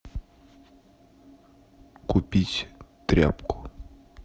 купить тряпку